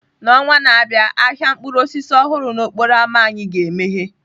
N'ọnwa na-abịa, ahịa mkpụrụ osisi ọhụrụ n'okporo ámá anyị ga-emeghe.